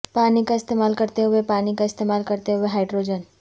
پانی کا استعمال کرتے ہوئے پانی کا استعمال کرتے ہوئے ہائڈروجن